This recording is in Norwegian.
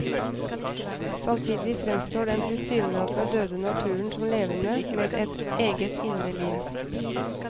Samtidig fremstår den tilsynelatende døde naturen som levende, med et eget indre liv.